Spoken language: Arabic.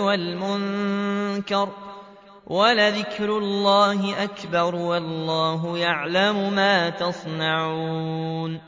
وَالْمُنكَرِ ۗ وَلَذِكْرُ اللَّهِ أَكْبَرُ ۗ وَاللَّهُ يَعْلَمُ مَا تَصْنَعُونَ